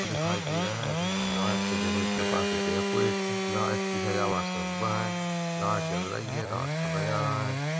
दिखाई दे रहा है लाइट से विभिन प्रकार से डेकोरेट है लाइट की सजावट से हुआ है लाइट जल रही है रात का नजारा हैं।